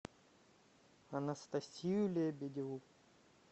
анастасию лебедеву